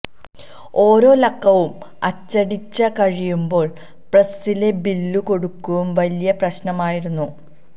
ഓരോ ലക്കവും അച്ചടിച്ചു കഴിയുമ്പോള് പ്രസ്സിലെ ബില്ലു കൊടുക്കുക വലിയ പ്രശ്നമായിരുന്നു